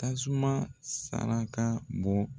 Tasuma saraka bɔ.